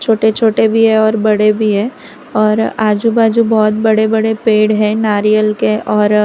छोटे छोटे भी है और बड़े भी है और आजु बाजु बहोत बड़े बड़े पेड़ नारियल के और--